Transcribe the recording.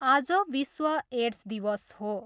आज विश्व एड्स दिवस हो।